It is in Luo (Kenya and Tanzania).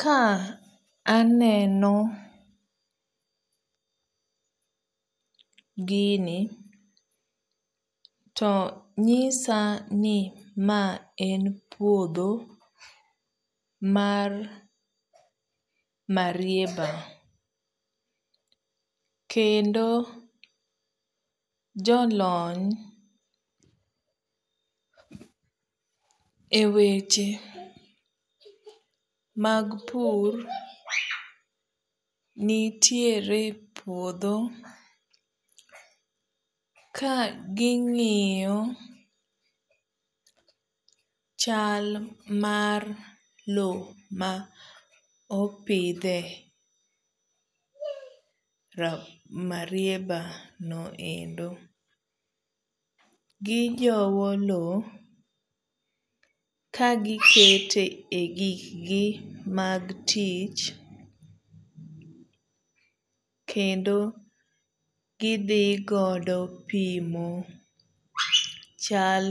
Ka aneno gini to nyisa ni maen puodho mar marieba kendo jolony e weche mag pur nitiere epuodho ka gingiyo chal mar loo maopidhe marieba no endo . gijowo loo kagikete gig gi mag tich kendo gidhi godo pimo chal